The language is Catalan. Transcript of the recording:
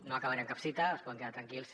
no acabaré amb cap cita es poden quedar tranquils